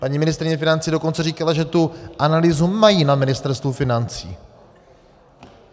Paní ministryně financí dokonce říkala, že tu analýzu mají na Ministerstvu financí.